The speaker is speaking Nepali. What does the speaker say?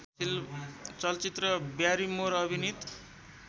चलचित्र ब्यारीमोर अभिनीत